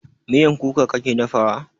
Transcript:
Miyan kuka kake dafa wa?